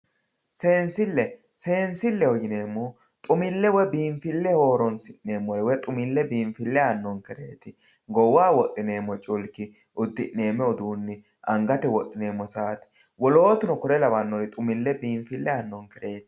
seensille seensilleho yineemmohu xumilleho woy biinfilleho horonsi'neemmore lede biinfille aannonkere goowaho wodhineemmoha uddi'neemmmo udiinne hattono ngate wodhineemmo saate wolootuno kore lawannore biinfille aannonkereeti.